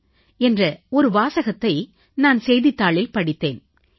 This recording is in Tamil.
தான் என்ற ஒரு வாசகத்தை நான் செய்தித்தாளில் படித்தேன்